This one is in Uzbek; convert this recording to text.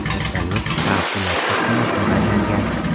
Vertolyot favqulodda qo‘nishni bajargan.